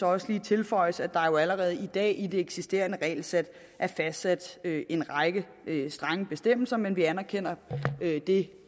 også lige tilføjes at der jo allerede i dag i det eksisterende regelsæt er fastsat en række strenge bestemmelser men vi anerkender det